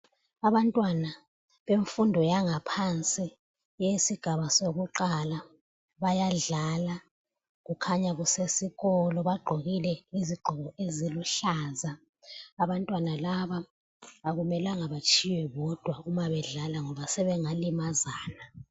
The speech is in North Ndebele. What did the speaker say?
Abantwana bemfundo yangaphansi eyesigaba sokuqala bayadlala kukhanya kusesikolo bagqokile izigqoko eziluhlaza abantwana laba akumelanga batshiywe bodwa umabedlala ngoba sebengalimazana.